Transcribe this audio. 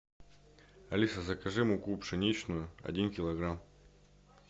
алиса закажи муку пшеничную один килограмм